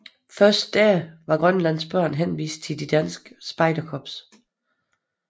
Før da var grønlandske børn henvist til de danske spejderkorps